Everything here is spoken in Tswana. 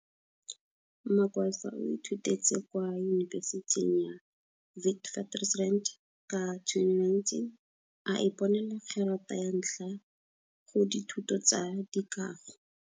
Magwaza o ithutetse kwa yubesithing ya Witwatersrand ka 2019, a iponela gerata ya ntlha go dithuto tsa dikago.